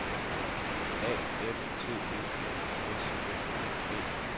A F T E N S M A D